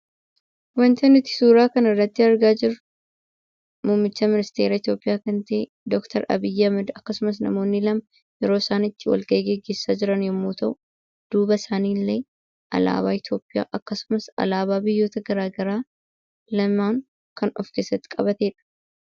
Wanti nuti suuraa kanarratti argaa jirru muummicha ministeeraa Itoophiyaa kan ta'e doktar Abiy Ahmad akkasumas namoonni lama yeroo isaan itti wal gahii gaggeessaa jiran yommuu ta'u, duuba isaaniillee alaabaa Itoophiyaa akkasumas alaabaa biyyoota garaagaraa lama kan of keessatti qabatedha.